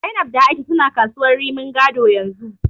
Zainab da A'isha suna kasuwar Rimin Gado yanzu.